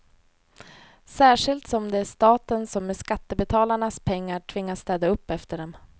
Särskilt som det är staten som med skattebetalarnas pengar tvingas städa upp efter dem.